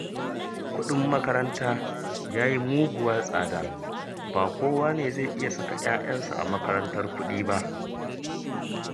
Kuɗin makaranta ya yi muguwar tsada, ba kowa ne zai iya saka 'ya'yansa a makarantar kuɗi ba